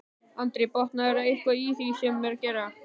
Andri: Botnaðirðu eitthvað í því sem hann var að gera?